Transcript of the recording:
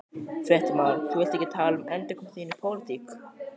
Fréttamaður: Þú vilt ekki tala um endurkomu þína í pólitík?